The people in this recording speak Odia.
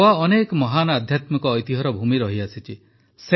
ଗୋଆ ଅନେକ ମହାନ ଆଧ୍ୟାତ୍ମିକ ଐତିହ୍ୟର ଭୂମି ରହିଆସିଛି